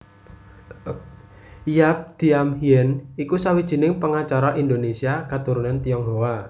Yap Thiam Hien iku sawijining pengacara Indonésia katurunan Tionghoa